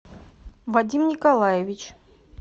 вадим николаевич